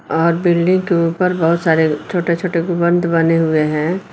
और बिल्डिंग के ऊपर बहुत सारे छोटे छोटे गुम्मद बने हुए हैं।